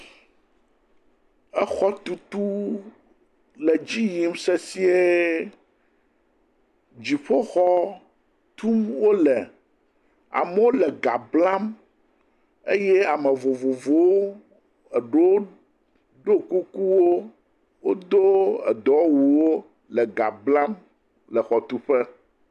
Exɔ tutu le dzi yim sesiẽ. Dziƒo xɔ tum wole. Amewo le ga blam eye ame vovovowo, e ɖewo ɖo kuku, wodo edɔ wɔ wu wo le eha blam le exɔ teƒe.